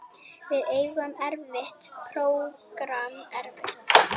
Við eigum erfitt prógramm eftir